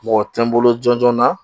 Mɔgɔ tɛ n bolo jɔnjɔn na